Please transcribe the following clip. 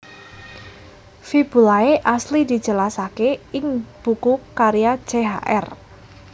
Fibulae asli dijelasaké ing buku karya Chr